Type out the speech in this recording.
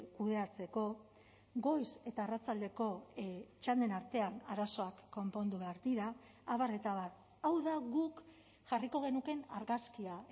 kudeatzeko goiz eta arratsaldeko txanden artean arazoak konpondu behar dira abar eta abar hau da guk jarriko genukeen argazkia